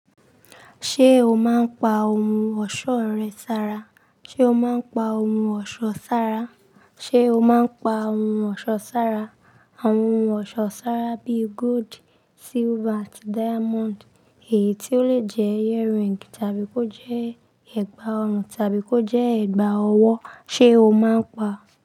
Ṣé o máa ń pa ohun ọ̀ṣọ́ rẹ sára? Ṣé o máa ń pa ohun ọ̀ṣọ́ sára? Ṣé o máa ń pa ohun ọ̀ṣọ́ sára? Àwọn ohun ọ̀ṣọ́ sára bíi gold, silver àti diamond èyí tí ó lè jẹ́ earring tàbí kó jẹ́ ẹ̀gbà ọrùn tàbí kó jẹ́ ẹ̀gbà ọwọ́, ṣe o máa ń pa?